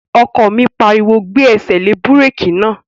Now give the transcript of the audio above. Ọkọ mi pariwo, "Gbé ẹsẹ̀ lé búrèkì náà!"